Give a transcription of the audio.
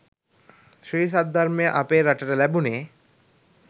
ශ්‍රී සද්ධර්මය අපේ රටට ලැබුණෙ.